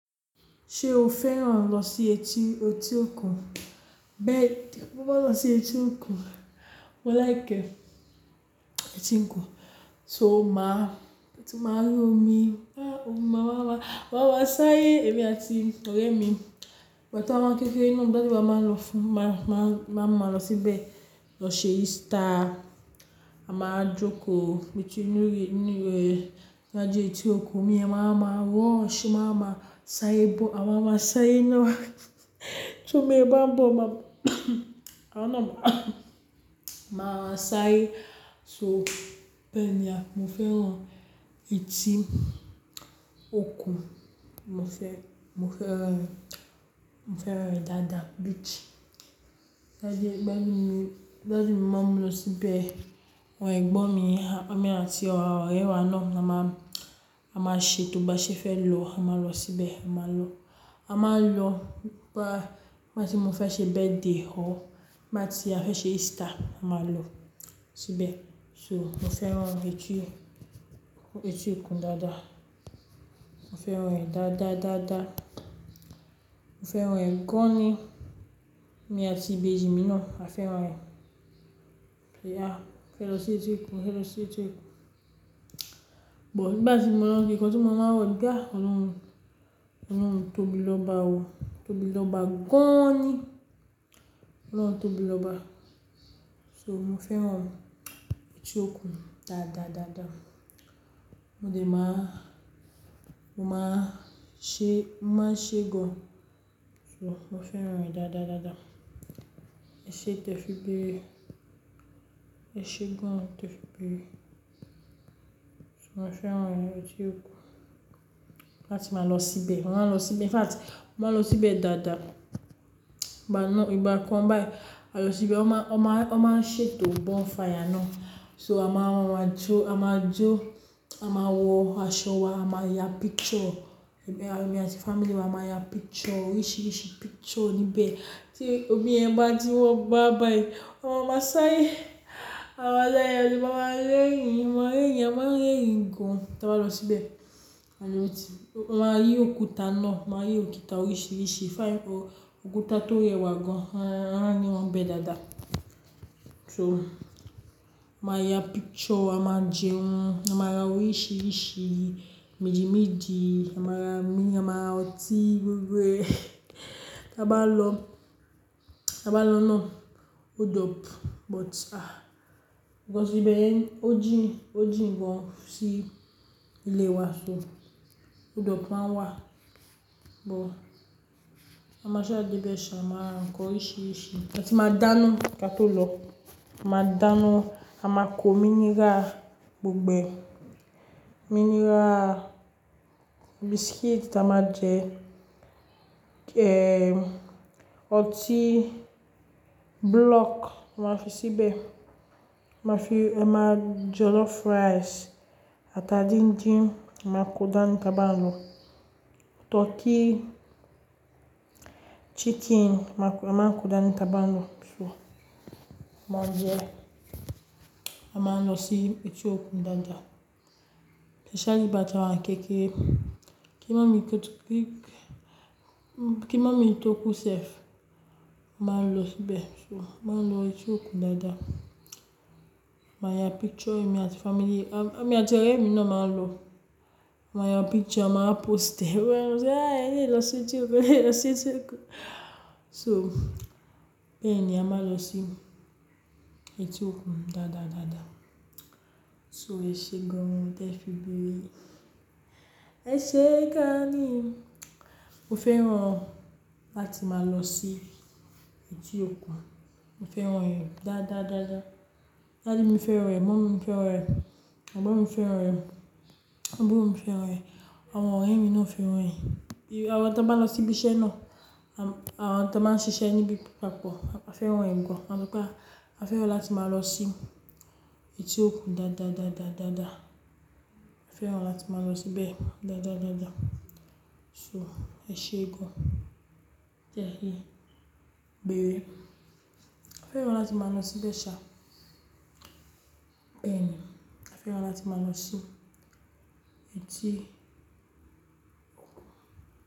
Ṣé o fẹ́ràn lọ sí etí, etí òkun? Bẹ́ẹ̀ni, mo máa ń lọ sí etí òkun. Mo láìki e etí òkun, so máa, kí ó tó máa rí omi, ah omi máa ń wa, máa ń wa sáyé èmi àti ọ̀rẹ́ mi. Ìgbà tí a wá ń kékeré ni ọ̀dún tó bá máa lọ fún, máa, máa, máa ń máa lọ síbẹ̀ lọ ṣe Easter. A máa jókòó méjì ní orí, ní òri rẹ̀. Lọ já etí òkun, omi ẹ̀ máa ma rush, o máa wa sáré bọ̀, a máa máa sáré náà. Tó omi yẹ̀n bá ń bọ̀ máa, àwa náà máà sáré. So bẹ́ẹ̀ni, mo fẹ́ràn etí òkun. Mo fẹ́, mo fẹ́ràn, mo fẹ́ràn rẹ̀ dáadáa beach. Ìgbà ti daddy mi o, tí daddy mi máa mú mi lọ síbẹ̀. Àwọ́n ẹ̀gbọ́n mi, èmi àti ọ̀rẹ́ wa náà, a máa, a máa ṣètò bá ṣe fẹ́ lọ, a máa lọ síbẹ̀, a máa lọ. A máa lọ bá, gbà ti mo fẹ́ ṣe birthday ọ̀, gbà ti a fẹ́ ṣe Easter, a máa lọ síbẹ̀. So mo fẹ́ràn etí, etí òkun dáadáa. Mo fẹ́ràn rẹ̀ dáadáa, dáadáa. Mo fẹ́ràn rẹ̀ gan ni. Èmi àti ìbejì mi náà a fẹ́ràn rẹ̀. Ìyá fẹ́ lọ sí etí òkun, fẹ́ lọ sí etí òkun. But nígbà tí mo lọ ń gbé, nǹkan tí màá ń wọ̀ dáa, ọlọ́run, ọlọ́run tóbi lọ́ba wọ̀, tóbi lọ́ba gan ni. Ọlọ́run tóbi lọ́ba. So, mo fẹ́ràn etí òkun dáadáa, dáadáa. Mo dẹ̀ máa, mo máa ṣe, máa ṣe gan. So mo fẹ́ràn rẹ̀ dáadáa, dáadáa. Ẹṣe tẹfi béèrè, ẹ ṣe gan tẹfi béèrè. So mo fẹ́ràn etí òkun, láti máa lọ síbẹ̀. Mo máa lọ síbẹ̀. In fact, mo máa lọ síbẹ̀ dáadáa. Ìgbà náà, ìgbà kan báyìí, a lọ síbẹ̀, a máa, a máa, a máa ṣètò bonfire náà. So a máa wọ́n wá jó, a máa jó, a máa wọ aṣọ wa, a máa ya picture. Ẹ̀mi, èmi àti family mi a máa ya picture, oríṣiríṣi picture níbẹ̀. Tí omi ẹ̀ bá ti wá báyìí a máa má sárẹ́. A máa ṣárẹ́, a dẹ̀ máa rẹ́rìn-ín, a dẹ̀ máa má rẹ́rìn-ín, a máa rẹ́rìn-ín gan tí a bá lọ síbẹ̀. Aloot ti, a máa rí òkúta náà, a máa rí òkúta oríṣiríṣi. Fine o, òkúta tó rẹwà gan, a, a máa n ri wọn ni bẹ dáadáa. So a máa ya picture, a máa jẹun, a máa ra oríṣiríṣi méjì méjì, a máa ra mílì, a máa ra ọtí gbogbo ẹ́ tí a bá lọ, tí a bá lọ náà. Ódọ̀pù, but ah because íbẹ̀yẹn ò jìna, ò jìn gan sí ilé wa. So ódọ̀pù máa n wà, but a máa sáà dé bẹẹ ṣà, a máa ra ǹkan oríṣiríṣi áti máa dáná kí a tó lọ. A máa dáná, a máa kó mineral gbogbo ẹ̀. Mineral, biscuit ta máa jẹ, ehm ọtí block máa fi síbẹ̀. Ma fi, ẹ máa jẹ jollof rice ata díndín, a máa kó dání tí a bá lọ. Turkey, chicken a máa, a máa kó dání ta bá lọ. So máa jẹ, a máa lọ sí etí òkun dáadáa. Especially ìgbà tí àwa ń kékeré. Kí màámi to ku, kí, kí màámi tó kú sẹ́f, a máa lọ síbẹ̀. So a máa lọ etí òkun dáadáa. Màá ya picture èmi àti family, a, èmi àti ọ̀rẹ́ mi náà máa lọ. A máa ya picture, a máa wá post ẹ́. Wọn yóò sọ, "Eléyìí lọ sí etí òkun, eléyìí lọ sí etí òkun." So bẹ́ẹ̀ni a máa lọ sí etí òkun dáadáa, dáadáa. So ẹṣẹ gan tẹfi bí. Ẹṣẹ́ gan ni. Mo fẹ́ràn láti máa lọ sí etí òkun. Mo fẹ́ràn rẹ̀ dáadáa, dáadáa. Daddy mi fẹ́ràn rẹ̀, mọ́ọ́mi fẹ́ràn rẹ̀, ẹ̀gbọ́n mi fẹ́ràn rẹ̀, àbúrò mi fẹ́ràn rẹ̀, àwọn ọ̀rẹ́ mi náà fẹ́ràn rẹ̀. Àwọn tí a bá lọ síbi iṣẹ́ náà, àwọn tí a máa ń ṣiṣẹ́ níbi papọ̀, a fẹ́ràn rẹ̀ gan. A ní pé a, a fẹ́ràn láti máa lọ sí etí òkun dáadáa, dáadáa, dáadáa. A fẹ́ràn láti máa lọ síbẹ̀ dáadáa, dáadáa. So ẹṣẹ́ gan tẹ́ fi béèrè. A fẹ́ràn láti máa lọ síbẹ̀ ṣá. Bẹ́ẹ̀ ni, a fẹ́ràn láti máa lọ sí etí òkun.